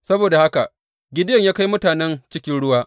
Saboda haka Gideyon ya kai mutanen cikin ruwa.